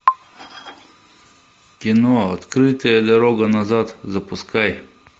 кино открытая дорога назад запускай